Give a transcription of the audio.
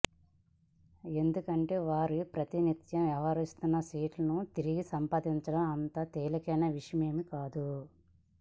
ఎందుకంటే వారు ప్రాతినిధ్యం వహిస్తున్న సీటును తిరిగి సంపాదించడం అంత తేలికైన విషయమేమీ కాదు